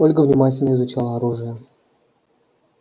ольга внимательно изучала оружие